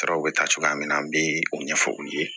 Saraw bɛ ta cogoya min na an bɛ o ɲɛfɔ u ye